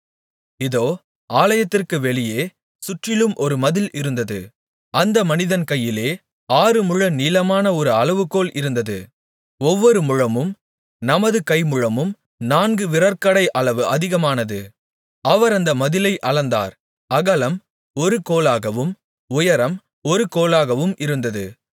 இதோ ஆலயத்திற்குப் வெளியே சுற்றிலும் ஒரு மதில் இருந்தது அந்த மனிதன் கையிலே ஆறுமுழ நீளமான ஒரு அளவுகோல் இருந்தது ஒவ்வொரு முழமும் நமது கைமுழத்திலும் நான்கு விரற்கடை அளவு அதிகமானது அவர் அந்த மதிலை அளந்தார் அகலம் ஒரு கோலாகவும் உயரம் ஒரு கோலாகவும் இருந்தது